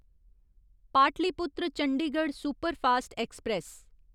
Pataliputra Chandigarh superfast express